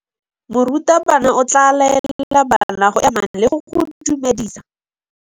Morutabana o tla laela bana go ema le go go dumedisa.